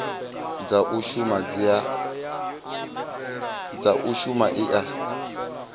dza u shuma i a